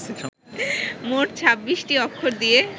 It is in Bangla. মোট ছাব্বিশটি অক্ষর দিয়ে